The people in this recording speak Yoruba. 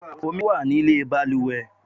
Omi wá nílé baluwe